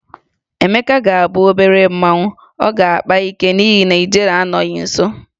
Emeka ga-abụ obere mmanwụ, ọ ga-akpa ike n'ihi na ijele anọghị nso.